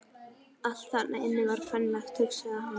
Allt þarna inni var kvenlegt, hugsaði hann.